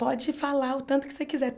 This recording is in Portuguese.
Pode falar o tanto que você quiser.